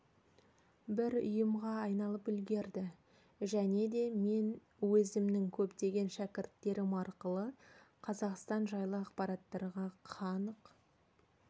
бір ұйымға айналып үлгерді және де мен өзімнің көптеген шәкірттерім арқылы қазақстан жайлы ақпараттарға қанық